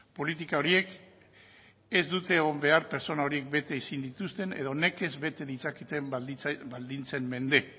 politika horiek ez dute egon behar pertsona horiek bete ezin dituzten edo nekez bete ditzaketen baldintzen mende